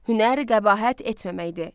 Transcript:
Hünər qəbahət etməməkdir.